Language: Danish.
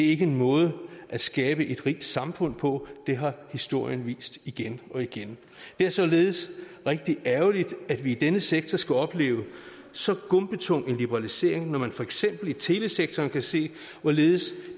ikke en måde at skabe et rigt samfund på det har historien vist igen og igen det er således rigtig ærgerligt at vi i denne sektor skal opleve så gumpetung en liberalisering når man for eksempel i telesektoren kan se hvorledes